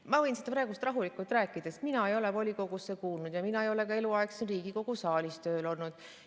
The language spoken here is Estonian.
Ma võin seda praegu rahulikult rääkida, sest mina ei ole volikogusse kuulunud ja mina ei ole ka eluaeg siin Riigikogu saalis tööl olnud.